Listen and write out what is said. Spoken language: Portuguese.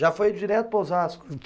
Já foi direto para Osasco?